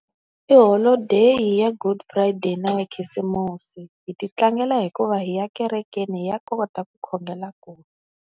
I holodeyi ya good friday na ya khisimusi hi ti tlangela hikuva hi ya ekerekeni hi ya kota ku khongela koho.